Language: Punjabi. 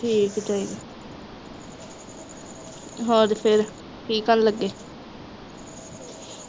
ਠੀਕ ਚਾਹੀਦੇ ਹੋਰ ਫਿਰ ਕੀ ਕਰਨ ਲੱਗੇ?